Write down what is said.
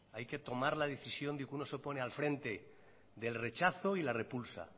hay que tomar la decisión de que uno se opone al frente del rechazo y la repulsa